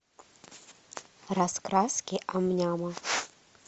раскраски ам няма